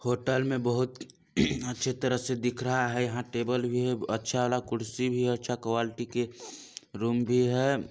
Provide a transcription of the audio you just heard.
Hotel में बहुत अच्छी तरह से दिख रहा है यहाँ टेबल भी है अच्छा वाला कुर्सी भी है अच्छा क्वालिटी के रूम भी है।